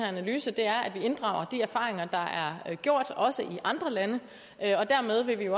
analyse at vi inddrager de erfaringer der er gjort også i andre lande dermed vil vi